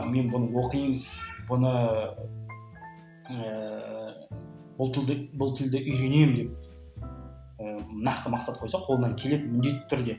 мен бұны оқимын бұны ыыы бұл тілді бұл тілді үйренемін деп ыыы нақты мақсат қойса қолынан келеді міндетті түрде